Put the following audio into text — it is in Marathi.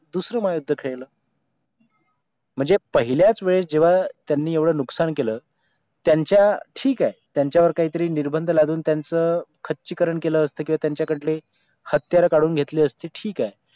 दुसरं महायुद्ध खेळलं म्हणजे पहिल्याच वेळ जेव्हा त्यांनी एवढं नुकसान केलं त्यांच्या ठीक आहे त्यांच्यावर काहीतरी निर्बंध लाडून त्यांचं खच्चीकरण केलं असतं की किंवा त्यांच्याकडले हत्यारं काढून घेतली असती ठीक आहे